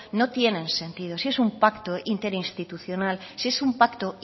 no tiene sentido si es un pacto interinstitucional si es un pacto